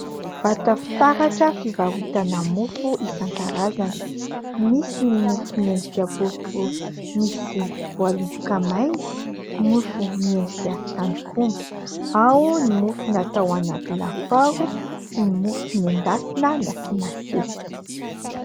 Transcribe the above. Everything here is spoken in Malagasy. Vata fitaratra fivarotana mofo isankarazany. Misy ny mofo miendrika boribory misy voaloboka maina, mofo miendrika tandrok'omby, ao ny mofo natao anaty lafaoro sy ny mofo noendasina nasiana sesika.